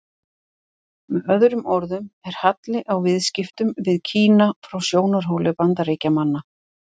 Með öðrum orðum er halli á viðskiptunum við Kína frá sjónarhóli Bandaríkjamanna.